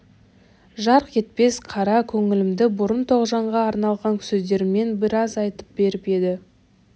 жарқ етпес қара көңілімді бұрын тоғжанға арналған сөздермен біраз айтып беріп еді